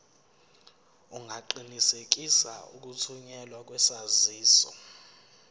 ungaqinisekisa ukuthunyelwa kwesaziso